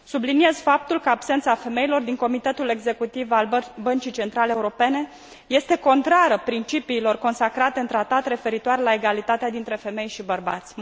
Subliniez faptul că absența femeilor din comitetul executiv al Băncii Centrale Europene este contrară principiilor consacrate în Tratat referioare la egalitatea dintre femei și bărbați.